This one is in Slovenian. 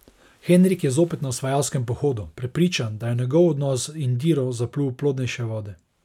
Henrik je zopet na osvajalskem pohodu, prepričan, da je njegov odnos z Indiro zaplul v plodnejše vode.